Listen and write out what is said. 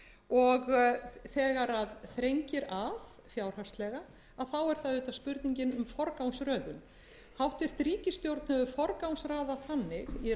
og þegar þrengir að fjárhagslega þá er það auðvitað spurningin um forgangsröðun hæstvirt ríkisstjórn hefur forgangsraðað þannig í